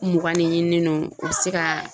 Mugan ne ɲininen no u bɛ se ka